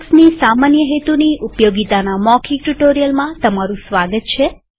લિનક્સની સામાન્ય હેતુની ઉપયોગીતાના મૌખિક ટ્યુ્ટોરીઅલમાં તમારું સ્વાગત છે